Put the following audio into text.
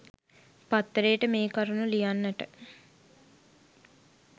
පත්තරේට මේ කරුණු ලියන්නට